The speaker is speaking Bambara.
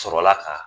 Sɔrɔla ka